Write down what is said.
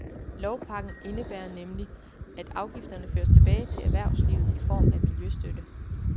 Lovpakken indebærer nemlig, at afgifterne føres tilbage til erhvervslivet i form af miljøstøtte.